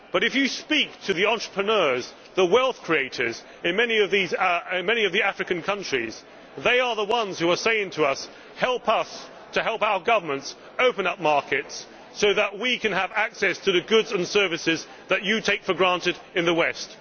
But, if you speak to the entrepreneurs the wealth creators in many of the African countries, they are the ones who are saying to us help us to help our governments open up markets so that we can have access to the goods and services that you take for granted in the West'.